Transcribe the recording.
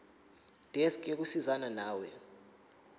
desk yokusizana nawe